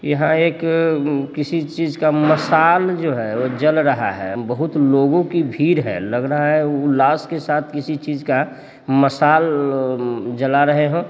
यहां एक किसी चीज का मसाल जो है वो जल रहा है बहुत लोगों की भीड़ है लग रहा है उ लाश के साथ किसी चीज का मसाल उम्म जला रहे हो।